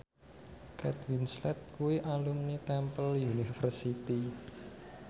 Kate Winslet kuwi alumni Temple University